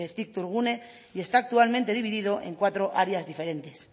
cictourgune y está actualmente dividido en cuatro áreas diferentes